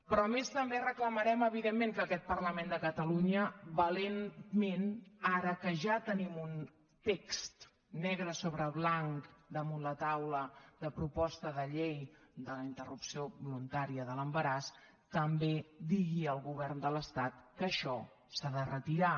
però a més també reclamarem evidentment que aquest parlament de catalunya valentment ara que ja tenim un text negre sobre blanc damunt la taula de proposta de llei de la interrupció voluntària de l’embaràs també digui al govern de l’estat que això s’ha de retirar